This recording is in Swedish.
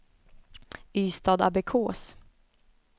Ystadabbekås